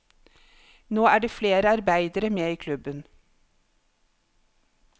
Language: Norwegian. Nå er flere arbeidere med i klubben.